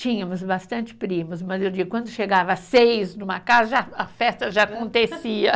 Tínhamos bastante primos, mas eu digo, quando chegava seis numa casa, a festa já acontecia.